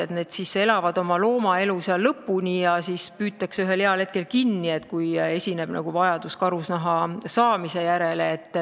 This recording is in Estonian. Nad elaksid seal oma loomaelu lõpuni ja nad püütaks lihtsalt ühel heal hetkel kinni, kui on vajadus karusnaha saamise järele.